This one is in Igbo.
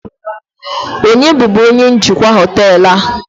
onye bubu onye njikwa họtelu?